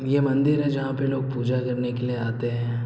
ये मंदिर है जहाँ पे लोग पूजा करने आते हैं।